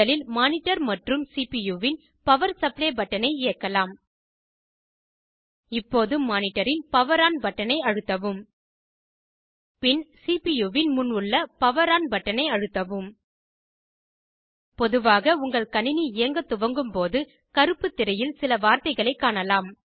முதலில் மானிடர் மற்றும் சிபியூ வின் பவர் சப்ளே பட்டனை இயக்கலாம் இப்போது மானிட்டரின் பவர் ஆன் பட்டனை அழுத்தவும் பின் சிபியூ வின் முன் உள்ள பவர் ஆன் பட்டனை அழுத்தவும் பொதுவாக உங்கள் கணினி இயங்க துவங்கும் போது கருப்புத் திரையில் சில வார்த்தைகளை காணலாம்